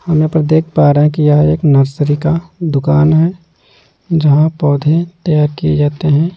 हम यहां पर देख पा रहे हैं कि यह एक नर्सरी का दुकान है जहां पौधे तैयार किए जाते हैं।